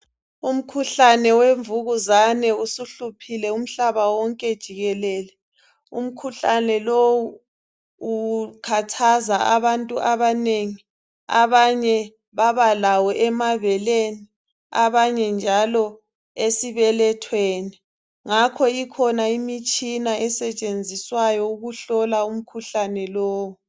umkhuhlane wemvukuzane usuhluphile umhlaba wonke jikelele umkhuhlane lowu ukhathaza abantu abanengi abanye babalawo emabeleni abanye njalo esibelethweni ngakho ikhona imitshina esetshenziswayo ukuhlola umkhuhlane lowu